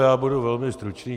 Já budu velmi stručný.